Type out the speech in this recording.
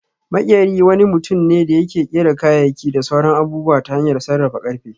Maƙyeri wani mutum ne da yake ƙera kayayyaki da sauran abubuwa ta hanyar sarrafa ƙarfe